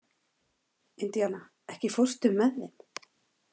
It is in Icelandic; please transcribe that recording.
Indiana, ekki fórstu með þeim?